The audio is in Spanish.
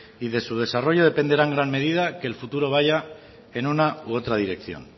y de su desarrollo dependerá en gran medida que el futuro vaya en una u otra dirección